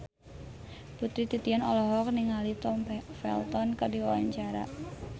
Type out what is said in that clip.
Putri Titian olohok ningali Tom Felton keur diwawancara